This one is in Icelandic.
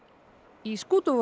í